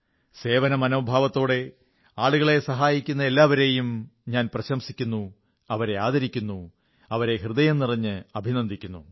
സേവനമനോഭാവത്തോടെ ആളുകളെ സഹായിക്കുന്ന എല്ലാവരെയും ഞാൻ പ്രശംസിക്കുന്നു അവരെ ആദരിക്കുന്നു അവരെ ഹൃദയം നിറഞ്ഞ് അഭിനന്ദിക്കുന്നു